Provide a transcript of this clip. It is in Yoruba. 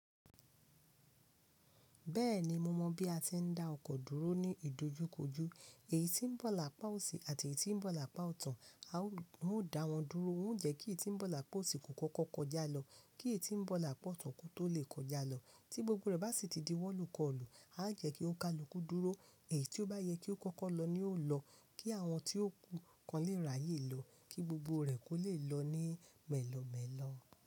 Bẹ́ẹ̀ni, mo mọ̀ bí a ti ń dá ọkọ̀ dúró ní ìdojúkojú. Èyí tí ń bọ̀ lápá òsì àti èyí tí ń bọ̀ lápá ọ̀tun, a ó dá wọn dúró. Ó ń jẹ́ kí iyí tí ń bọ̀ lápá òsì kò kọ́kọ́ kọjá lọ, kí èyí tí ń bọ̀ lápá ọ̀tun kó tó lè kọjá lọ. Tí gbogbo rẹ̀ bá sì di wọ́n lukọ̀lù, a jẹ́ kí ó ka luku dúró, èyí tí ó bá yẹ kí ó kọ́kọ́ lọ ní o lọ, kí àwọn tí ó kàn lè ráyè lọ, kí gbogbo rẹ̀ kò lè lọ ní mẹ́lọ̀ mẹ́lọ̀